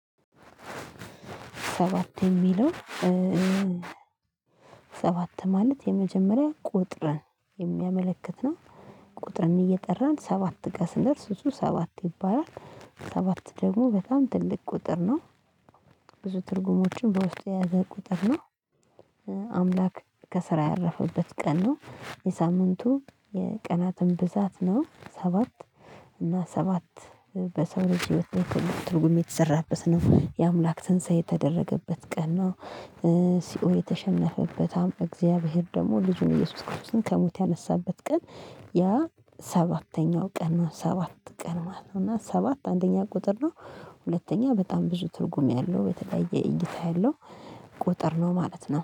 ሰባት የሚለው ሰባት ማለት የመጀመሪያ ቁጥርን የሚያመለክት ነው። ቁጥርን እየጠራን ሰባት ጋር ስንደርስ እሱ ሰባት ይባላል ሰባት ደግሞ በጣም ትልቅ ቁጥር ነው። ብዙ ትርጉሞችን በውስጤ የያዘ ቁጥር ነው። አምላክ ከስራ ያረፈበት ቀን ነው። የሳምንቱ የቀናትም ብዛት ነው ሰባት እና ሰባት በሰው ልጅ ትርጉም የተሰራበት ነው የአምላክ ትንሳኤ የተደረገበት ቀን ነው። ሲኦል የተሸነፈበት አምባ እግዚአብሔር ደግሞ ልጁን ኢየሱስ ክርስቶስን ከሞት ያነሳበት ቀን። ያ ሰባተኛው ቀን ሰባት ቀን ማለት ነው እና ሰባት አንደኛ ቁጥር ነው። ሁለተኛ በጣም ብዙ ትርጉም ያለው የተለያየ እይታ ያለው ቁጥር ነው ማለት ነው